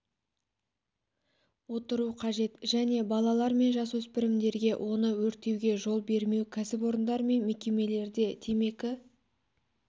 отыру қажет және балалар мен жасөспірімдерге оны өртеуге жол бермеу кәсіпорындар мен мекемелерде темекі